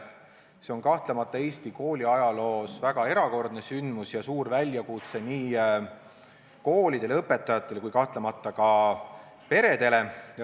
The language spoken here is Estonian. See on Eesti kooli ajaloos kahtlemata väga erakordne sündmus ja suur väljakutse nii koolidele, õpetajatele kui ka peredele.